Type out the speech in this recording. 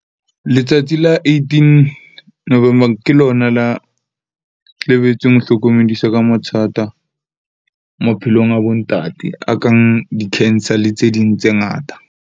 Letsatsi la eighteen November ke lona la, lebetseng ho hlokomedisa ka mathata maphelong a bo ntate, a kang di-cancer le tse ding tse ngata.